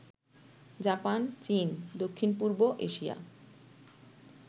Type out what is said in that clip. Japan, চীন, দক্ষিণ পূর্ব এশিয়া